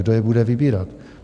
Kdo je bude vybírat?